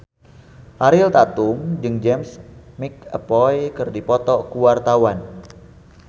Ariel Tatum jeung James McAvoy keur dipoto ku wartawan